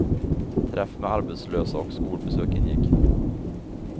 Träff med arbetslösa och skolbesök ingick.